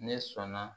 Ne sɔnna